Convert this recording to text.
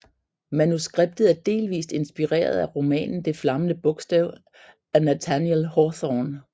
Manuskriptet er delvist inspireret romanen Det flammende bogstav af Nathaniel Hawthorne